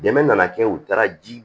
Dɛmɛ nana kɛ u taara ji